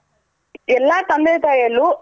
ಎಲ್ಲಾ ತಂದೆ ತಾಯಲ್ಲೂ